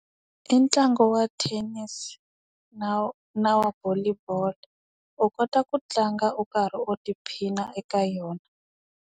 I ntlangu wa thenisi, na na wa volley ball. U kota ku tlanga u karhi u tiphina eka yona.